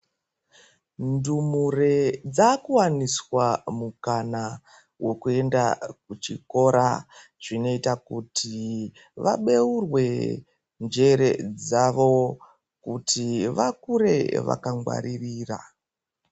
Ndumure dzaku waniswa mukana wekuenda ku chikora zvinoita kuti vabeurwe njere dzavo kuti vakure vaka ngwaririra.